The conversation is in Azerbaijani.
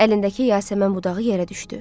Əlindəki yasəmən budağı yerə düşdü.